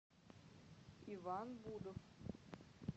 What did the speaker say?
иван будов